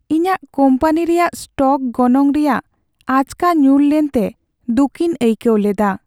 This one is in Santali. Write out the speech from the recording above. ᱤᱧᱟᱹᱜ ᱠᱳᱢᱯᱟᱱᱤ ᱨᱮᱭᱟᱜ ᱥᱴᱚᱠ ᱜᱚᱱᱚᱝ ᱨᱮᱭᱟᱜ ᱟᱪᱠᱟ ᱧᱩᱨ ᱞᱮᱱᱛᱮ ᱫᱩᱠᱤᱧ ᱟᱹᱭᱠᱟᱹᱣ ᱞᱮᱫᱟ ᱾